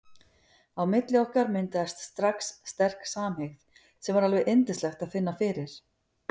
Á milli okkar myndaðist strax sterk samhygð sem var alveg yndislegt að finna fyrir.